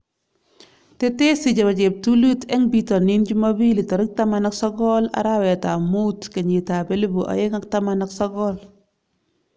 Tesesi chebo cheptulit eng bitonin chumabili 19.05.2019